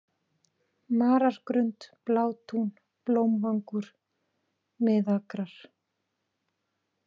Marargrund, Blátún, Blómvangur, Miðakrar